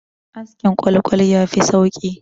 Askin ƙwal-ƙwal ya fi sauki